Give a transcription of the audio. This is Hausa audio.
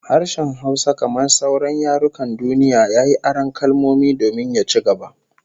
Harshen Hausa kamar sauran yarukan duniya, yayi aron kalmomi domin ya ci gaba